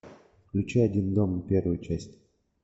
включи один дома первую часть